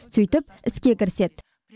сөйтіп іске кіріседі